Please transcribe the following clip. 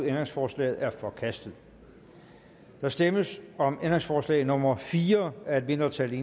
ændringsforslaget er forkastet der stemmes om ændringsforslag nummer fire af et mindretal